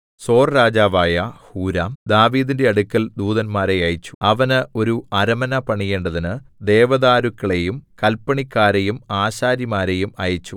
സോർരാജാവായ Huram ദാവീദിന്റെ അടുക്കൽ ദൂതന്മാരെ അയച്ചു അവന് ഒരു അരമന പണിയേണ്ടതിന് ദേവദാരുക്കളെയും കൽപ്പണിക്കാരെയും ആശാരിമാരെയും അയച്ചു